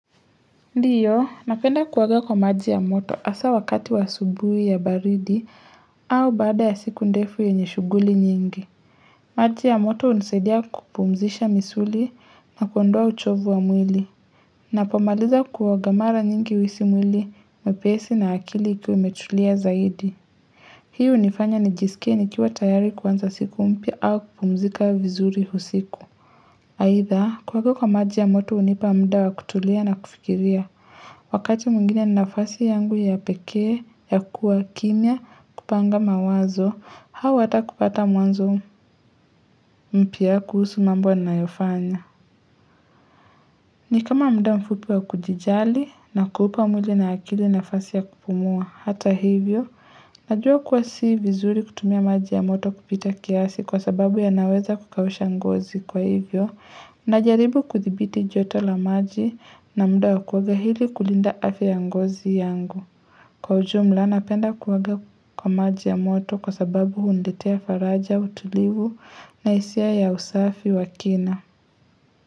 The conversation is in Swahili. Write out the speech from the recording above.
Ndio, napenda kuoga kwa maji ya moto hasa wakati wa asubuhi ya baridi au baada ya siku ndefu yenye shughuli nyingi. Maji ya moto hunisaidia kupumzisha misuli na kuondoa uchovu wa mwili. Ninapomaliza kuoga mara nyingi huisi mwili, mwepesi na akili ikiwa imetulia zaidi. Hii hunifanya nijisikie nikiwa tayari kuanza siku mpya au kupumzika vizuri usiku. Aidha, kuoga kwa maji ya moto hunipa muda wa kutulia na kufikiria, wakati mwingine ni nafasi yangu ya pekee, ya kuwa kimya, kupanga mawazo, au hata kupata mwanzo mpya kuhusu mambo ninayofanya. Ni kama muda mfupi wa kujijali na kuupa mwili na akili nafasi ya kupumua hata hivyo. Najua kuwa si vizuri kutumia maji ya moto kupita kiasi kwa sababu yanaweza kukausha ngozi kwa hivyo. Najaribu kuthibiti joto la maji na mda wa kuoga ili kulinda afya ya ngozi yangu. Kwa ujumla napenda kuoga kwa maji ya moto kwa sababu huniletea faraja utulivu na hisia ya usafi wa kina.